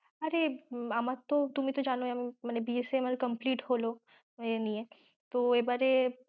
আরে আমার তো তুমি তো জানোই আমি মানে B. Sc আমার complete হল এ নিয়ে, তো এবারে